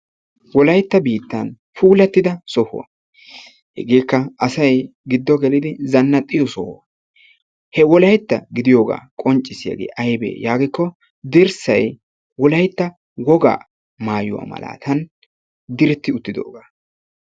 Wolaytta biittan puulatidda sohuwaa. Hegekka asay giddo gelidi zanaxxiyo sohuwa. he Wolaytta gidiyooga qonccissiyaage aybba yaagikko dirssay wolaytta wogaa maayuwa malaatan diretti uttidooga.